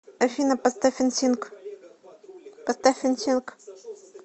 афина поставь энсинк